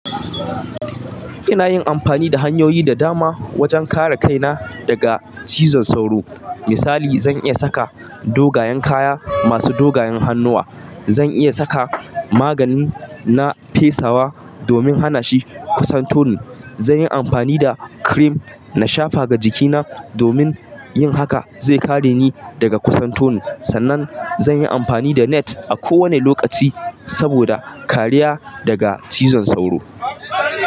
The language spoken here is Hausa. Ina yin amfani da hanyoyi da dama wajen kare kaina daga cizon sauro. Misali, zan iya saka dogayen kaya masu dogayen hannuwa. Zan iya saka maganin na fesawa domin hana shi kusan toni. Zan yi amfani da cream na shafa ga jikina domin yin haka zai kare ni daga kusan toni. Sannan zan yi amfani da net a kowane lokaci saboda kariya daga cizon sauro.